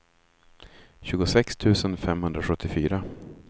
tjugosex tusen femhundrasjuttiofyra